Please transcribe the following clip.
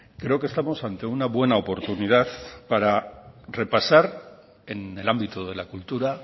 creo que estamos ante una buena oportunidad para repasar en el ámbito de la cultura